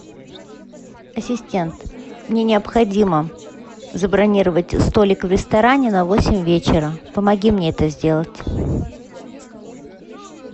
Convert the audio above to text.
ассистент мне необходимо забронировать столик в ресторане на восемь вечера помоги мне это сделать